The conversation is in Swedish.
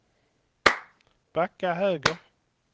backa höger